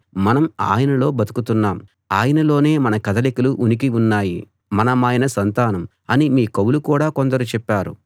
మనం ఆయనలో బతుకుతున్నాం ఆయనలోనే మన కదలికలూ ఉనికీ ఉన్నాయి మనమాయన సంతానం అని మీ కవులు కూడా కొందరు చెప్పారు